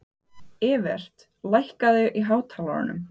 Evert, lækkaðu í hátalaranum.